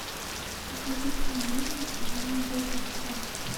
покажи киноленту сирано де бержерак